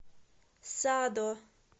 садо